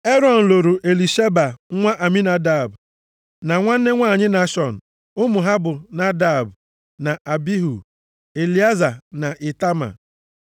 Erọn lụrụ Elisheba, nwa Aminadab, na nwanne nwanyị Nashọn. Ụmụ ha bụ, Nadab, na Abihu, Elieza na Itama.